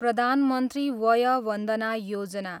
प्रधान मन्त्री वय वन्दना योजना